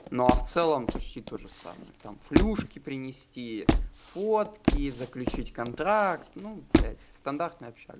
но а в целом почти тоже самое там флюшки принести фотки заключить контракт ну блять стандартная общага